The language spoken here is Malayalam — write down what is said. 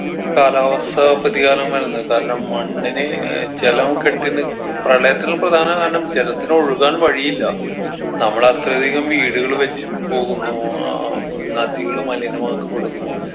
കാലാവസ്ഥ പ്രതികാരമെന്നത് കാരണം മണ്ണിന് ഏർ ജലം കെട്ടി നി പ്രളയത്തിന് പ്രധാന കാരണം ജലത്തിന് ഒഴുകാൻ വഴിയില്ല നമ്മളത്രധികം വീടുകൾ വെച്ച് പോകുന്നു ഏർ നദികള് മലിനമാക്കപ്പെടുന്നു